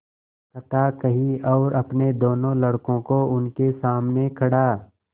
कथा कही और अपने दोनों लड़कों को उनके सामने खड़ा